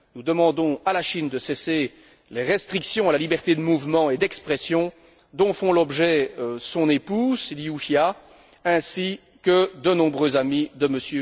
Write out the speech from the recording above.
Nous demandons à la Chine de cesser les restrictions à la liberté de mouvement et d'expression dont font l'objet son épouse, Liu Xia, ainsi que de nombreux amis de M.